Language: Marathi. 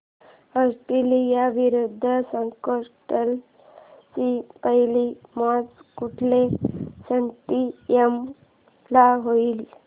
ऑस्ट्रेलिया विरुद्ध स्कॉटलंड ची पहिली मॅच कुठल्या स्टेडीयम ला होईल